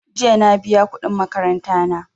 Jiya na biya kuɗin makaranta na.